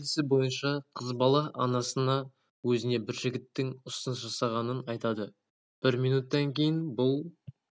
видео желісі бойынша қыз бала анасына өзіне бір жігіттің ұсыныс жасағанын айтады бір минуттан кейін бұл